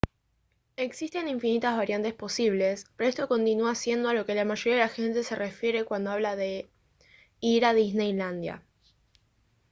existen infinitas variantes posibles pero esto continúa siendo a lo que la mayoría de la gente se refiere cuando habla de «ir a disneylandia»